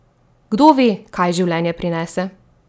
Kdo ve, kaj življenje prinese?